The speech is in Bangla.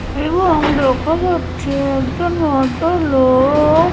এবং দেখা যাচ্ছে একজন ভদ্রলো-ও -ও-ও-ক।